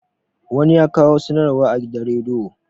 wani ya kawo sanarwa a gidan rediyo